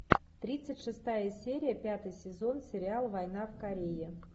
тридцать шестая серия пятый сезон сериал война в корее